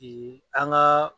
an ka